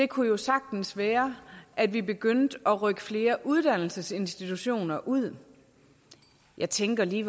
kunne jo sagtens være at vi begyndte at rykke flere uddannelsesinstitutioner ud jeg tænker lige